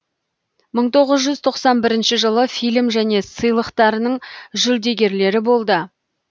мың тоғыз жүз тоқсан бірінші жылы фильм және сыйлықтарының жүлдегерлері болды